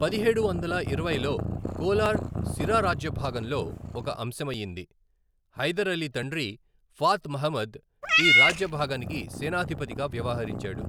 పదిహేడు వందల ఇరవైలో కోలార్ సిరా రాజ్యభాగంలో ఒక అంశమయ్యింది, హైదర్ అలీ తండ్రి ఫాత్ మహ్మద్ ఈ రాజ్యభాగనికి సేనాధిపతిగా వ్యవహరించాడు.